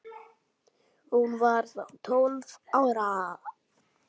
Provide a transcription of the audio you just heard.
Hún var þá tólf ára.